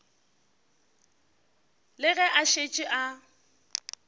le ge a šetše a